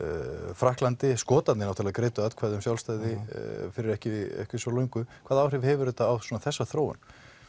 Frakklandi Skotarnir náttúrulega greiddu atkvæði um sjálfstæði fyrir ekki svo löngu hvaða áhrif hefur þetta á þessa þróun